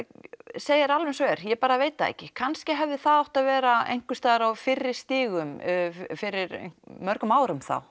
segi þér alveg eins og er ég bara veit það ekki kannski hefði það átt að vera einhvers staðar á fyrri stigum fyrir mörgum árum þá